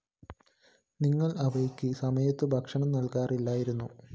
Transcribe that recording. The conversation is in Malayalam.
നിങ്ങള്‍ അവയ്ക്ക് സമയത്തു ഭക്ഷണം നല്‍കാറില്ലായിരുന്നു